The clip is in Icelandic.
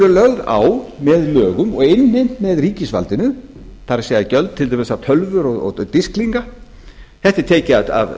lögð á með lögum og innheimt með ríkisvaldinu það er gjöld til dæmis á tölvur og disklinga þetta er tekið af